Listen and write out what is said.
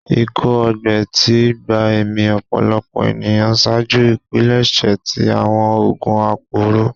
Ikọ-ọgbẹ ti gba ẹmi ọpọlọpọ eniyan ṣaaju ipilẹṣẹ ti awọn oogun aporo